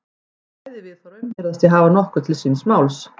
Bæði viðhorfin virðast því hafa nokkuð til síns máls.